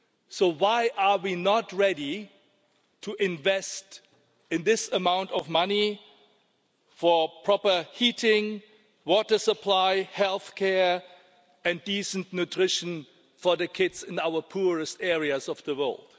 So why are we not ready to invest this amount of money for proper heating, water supply, health care and decent nutrition for the kids in our poorest areas of the world?